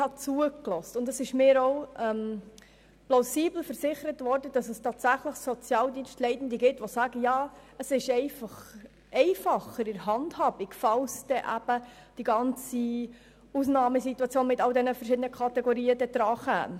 Ich habe zugehört, und es ist mir auch plausibel versichert worden, dass es tatsächlich Sozialdienstleitende gibt, die sagen, die Handhabung wäre einfacher, wenn es zur Ausnahmesituation mit all den Kategorien käme.